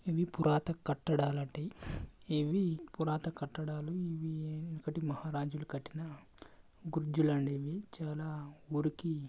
ఇది పురాత కట్టడాలటి ఇవి పురాత కట్టడాలు ఇవి ఒకటి మహా రాజులు కట్టిన గుజ్జులు అనేవి చాలా మురికి --